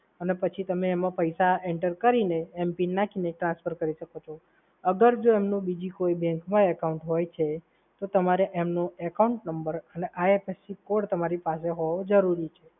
અને પછી તમે એમાં પૈસા enter કરીને m-PIN નાંખીને transfer કરી શકો છો. અગર જો એમને બીજી કોઈ bank મા account છે ત્યારે એમનો account number અને IFSC કોડ તમારી પાસે હોવો જરૂરી છે.